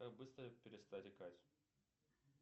как быстро перестать икать